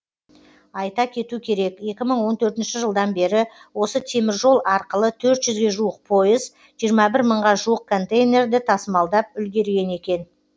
айта кету керек екі мың он төртінші жылдан бері осы теміржол арқылы төрт жүзге жуық пойыз жиырма бір мыңға жуық контейнерді тасымалдап үлгерген екен